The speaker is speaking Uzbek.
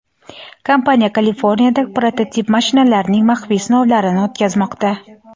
kompaniya Kaliforniyada prototip mashinalarining maxfiy sinovlarini o‘tkazmoqda.